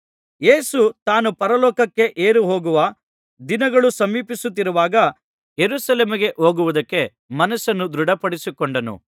ಯೇಸು ತಾನು ಪರಲೋಕಕ್ಕೆ ಏರಿಹೋಗುವ ದಿನಗಳು ಸಮೀಪಿಸುತ್ತಿರುವಾಗ ಯೆರೂಸಲೇಮಿಗೆ ಹೋಗುವುದಕ್ಕೆ ಮನಸ್ಸನ್ನು ದೃಢಮಾಡಿಕೊಂಡನು